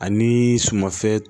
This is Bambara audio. Ani sumanfɛn